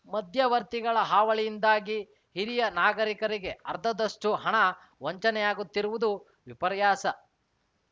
ಮಧ್ಯವರ್ತಿಗಳ ಹಾವಳಿಯಿಂದಾಗಿ ಹಿರಿಯ ನಾಗರಿಕರಿಗೆ ಅರ್ಧದಷ್ಟುಹಣ ವಂಚನೆಯಾಗುತ್ತಿರುವುದು ವಿಪರ್ಯಾಸ